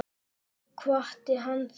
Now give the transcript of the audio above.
Ég kvaddi hana þá.